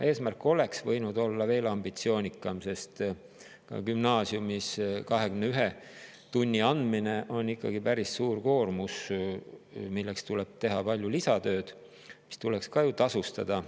Eesmärk oleks võinud olla veel ambitsioonikam, sest gümnaasiumis on ka 21 tunni andmine ikkagi päris suur koormus, milleks tuleb teha palju lisatööd, mis tuleks ka ju tasustada.